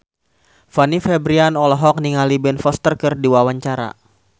Fanny Fabriana olohok ningali Ben Foster keur diwawancara